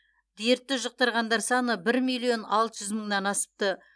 дертті жұқтырғандар саны бір миллион алты жүз мыңнан асыпты